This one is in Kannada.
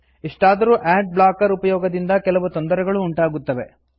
ಇಷ್ಟಾದರೂ ಆಡ್ ಬ್ಲಾಕರ್ ಉಪಯೋಗದಿಂದ ಕೆಲವು ತೊಂದರೆಗಳೂ ಉಂಟಾಗುತ್ತವೆ